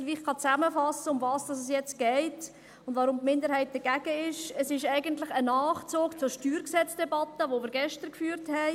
Wenn ich etwas zusammenfassen kann, worum es jetzt geht und warum die Minderheit jetzt dagegen ist, ist es eigentlich ein Nachzug zur StG-Debatte, die wir gestern geführt haben.